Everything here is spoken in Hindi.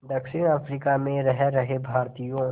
दक्षिण अफ्रीका में रह रहे भारतीयों